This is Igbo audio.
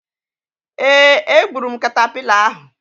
Ee, egburu m katapila ahu.